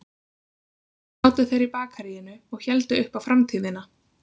Hér sátu þeir í bakaríinu og héldu upp á framtíðina